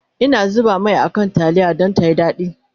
Ina zuba Mai a kan taliyar Dan tayi dadi